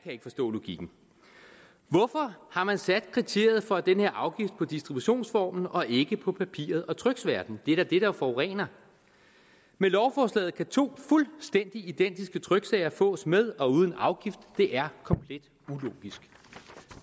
ikke forstå logikken hvorfor har man sat kriteriet for den her afgift på distributionsformen og ikke på papiret og tryksværten det er da det der forurener med lovforslaget kan to fuldstændig identiske tryksager fås med og uden afgift det er komplet ulogisk